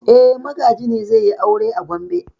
E, Magaji ne zai yi aure a Gombe.